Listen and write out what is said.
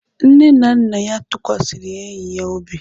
Nne na nna ya tụkwasịrị enyi ya obi.